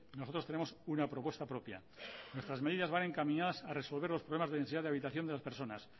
nosotros tenemos una propuesta propia nuestras medidas van encaminadas a resolver los problemas de densidad de habitación de las personas